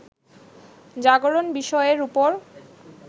জাগরণ বিষয়ের উপর